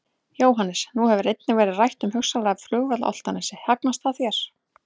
Jóhannes: Nú hefur einnig verið rætt um hugsanlegan flugvöll á Álftanes, hugnast það þér?